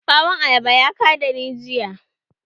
Bawon ayaba ya ka da ni jiya.